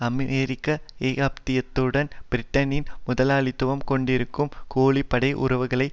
அமெரிக்க ஏகாதிபத்தியத்துடன் பிரிட்டனின் முதலாளித்துவம் கொண்டிருக்கும் கூலிப்படை உறவுகளை